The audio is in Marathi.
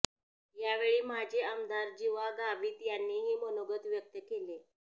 यावेळी माजी आमदार जीवा गावित यांनीही मनोगत व्यक्त केले